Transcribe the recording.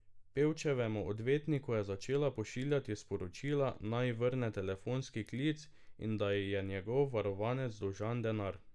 Pevčevemu odvetniku je začela pošiljati sporočila, naj ji vrne telefonski klic in da ji je njegov varovanec dolžan denar.